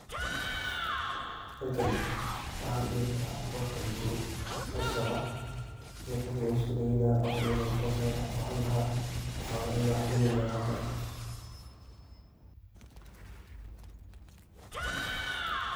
Halkan waxa ladihi kara wa kambuni kaso ladihi karo in qof lugusodaweynayo ama inu madax uu hadlayo.